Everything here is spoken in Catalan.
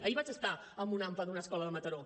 ahir vaig estar en una ampa d’una escola de mataró